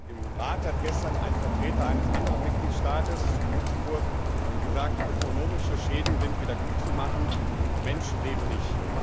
Im Rat hat gestern ein Vertreter eines anderen Mitgliedstaates, Luxemburg, gesagt, ökonomische Schäden sind wieder gutzumachen, Menschenleben nicht.